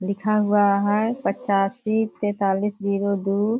लिखा हुआ है पचासी तेतालिस जीरो दू --